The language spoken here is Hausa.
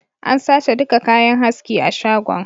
An sace duka kayan haski a shagon